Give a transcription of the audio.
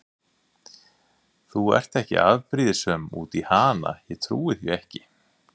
Þú ert ekki afbrýðisöm út í hana, ég trúi því ekki!